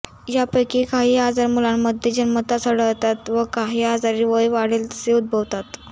यापैकी काही आजार मुलांमध्ये जन्मतःच आढळतात व काही आजार वय वाढेल तसे उद्भवतात